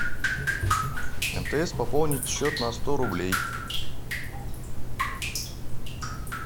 мтс пополнить счет на сто рублей